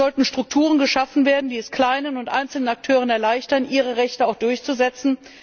Es sollten Strukturen geschaffen werden, die es kleinen und einzelnen Akteuren erleichtern, ihre Rechte auch durchzusetzen.